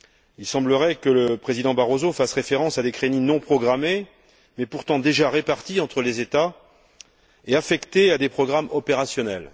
Il semblerait que le président Barroso fasse référence à des crédits non programmés, mais pourtant déjà répartis entre les États et affectés à des programmes opérationnels.